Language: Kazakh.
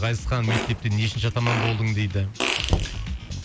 ғазизхан мектепте нешінші атаман болдың дейді